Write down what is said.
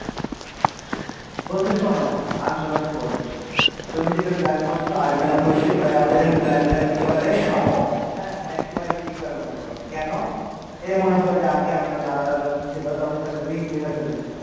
বন্ধু শোনো আমি তোমাকে বলি তুমি যেটা plan করছো আমি plan করছি প্রায় আমাদের plan টা একেবারে সমুহ একেবারে equal মনে করো কেন এই মনে করো আমাদের আগে দাদারা যখন ছিল তখন তাদের বিশ বিঘা জমি ছিল।